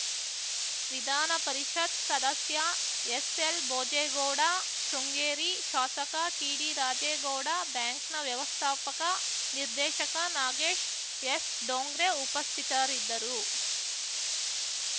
ವಿಧಾನ ಪರಿಷತ್‌ ಸದಸ್ಯ ಎಸ್‌ಎಲ್‌ಭೋಜೇಗೌಡ ಶೃಂಗೇರಿ ಶಾಸಕ ಟಿಡಿರಾಜೇಗೌಡ ಬ್ಯಾಂಕ್‌ನ ವ್ಯವಸ್ಥಾಪಕ ನಿರ್ದೇಶಕ ನಾಗೇಶ್‌ ಎಸ್‌ಡೋಂಗ್ರೆ ಉಪಸ್ಥಿತರಿದ್ದರು